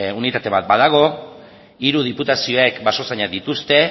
unitate bat badago hiru diputazioek basozainak dituzte